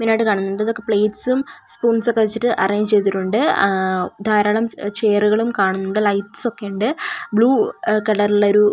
മെയിനായിട്ട് കാണുന്നത് പ്ലെയ്റ്റ്സും സ്പൂൺസ് ഒക്കെ വെച്ചിട്ട് അറേഞ്ച് ചെയ്തിട്ടുണ്ട് അ ധാരാളം ചെ ചെയറുകളും കാണുന്നുണ്ട് ലൈറ്റ്സ് ക്കെ ണ്ട് ബ്ലൂ കളറു ള്ള ഒരു --